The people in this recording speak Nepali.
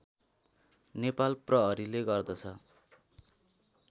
नेपाल प्रहरीले गर्दछ